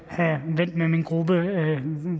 have vendt med min gruppe